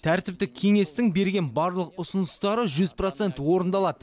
тәртіптік кеңестің берген барлық ұсыныстары жүз процент орындалады